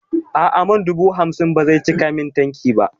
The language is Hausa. A'a man dubu hamsin ba zai cika min tanki ba